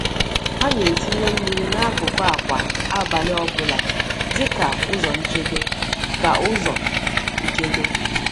Hà na-etinye mmiri n’akụkụ akwa abalị ọ bụla dị ka ụzọ nchedo. ka ụzọ nchedo.